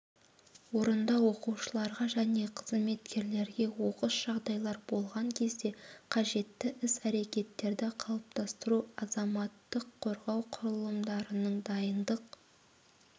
орындау оқушыларға және қызметкерлерге оқыс жағдайлар болған кезде қажетті іс-әрекеттерді қалыптастыру азаматтық қорғау құрылымдарының дайындық